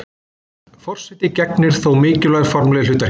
forseti gegnir þó mikilvægu formlegu hlutverki